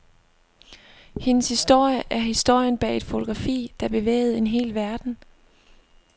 Hendes historie er historien bag et fotografi, der bevægede en hel verden.